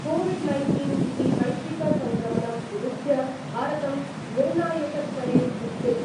COVID nineteen इति वैश्विकसङ्क्रमणं विरुध्य भारतं निर्णायकस्तरेयुध्यति ।